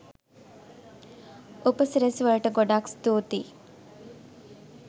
උපසිරැසි වලට ගොඩක් ස්තූතී